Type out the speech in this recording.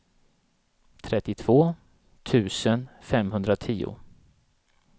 trettiotvå tusen femhundratio